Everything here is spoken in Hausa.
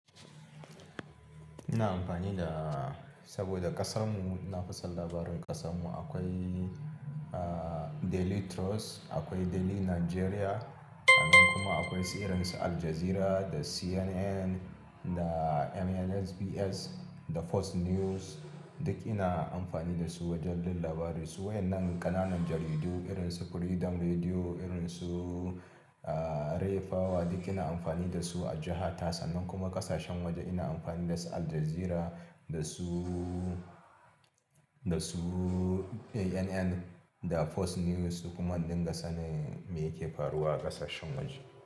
Ina amfani da saboda ƙasar mu, ina fa son labarin ƙasar mu, akwai Daily Trust, akwai Daily Nigeria, sannan kuma akwai su irin su Al Jazeera da CNN da MNBS da Fox News. Duk ina amfani da su wajen jin labari. Su waƴannan ƙananun jaridu irin su Freedom Radio, irin su Ray of Light duk ina amfani da su a jihata, sannan kuma ƙasashen waje ina amfani da su Al Jazeera da su, da su CNN da Fox News su kuma in dinga sanin me ke faruwa a ƙasashen waje.